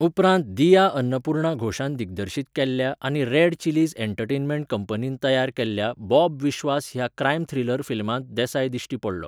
उपरांत दिया अन्नपूर्णा घोषान दिग्दर्शीत केल्ल्या आनी रेड चिलीज़ एंटरटेनमेंट कंपनीन तयार केल्ल्या 'बॉब विश्वास' ह्या क्रायम थ्रिलर फिल्मांत देसाय दिश्टी पडलो.